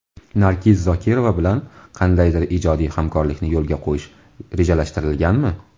Nargiz Zokirova bilan qandaydir ijodiy hamkorlikni yo‘lga qo‘yish rejalashtirilganmi?